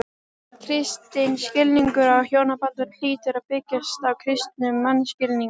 Kristinn skilningur á hjónabandinu hlýtur að byggjast á kristnum mannskilningi.